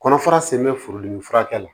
Kɔnɔfara sen bɛ forodimi furakɛ la